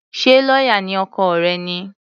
Ṣé lọ́yà ni ọkọ rẹ̀ ni?